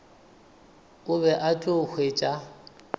o be o tla hwetša